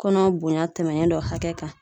Kɔnɔ bonya tɛmɛnen dɔ hakɛ kan